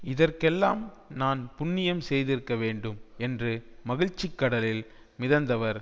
இதற்கெல்லாம் நான் புண்ணியம் செய்திருக்க வேண்டும் என்று மகிழ்ச்சி கடலில் மிதந்தவர்